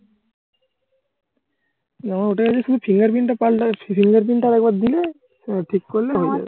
ওটার শুধু fingerprint টা পাল্টানো fingerprint টা আরেকবার দিলে ঠিক করলে হয়ে যাবে।